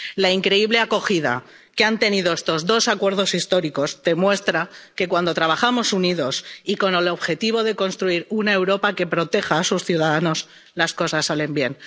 La increíble acogida que han tenido estos dos acuerdos históricos demuestra que, cuando trabajamos unidos y con el objetivo de construir una Europa que proteja a sus ciudadanos, las cosas salen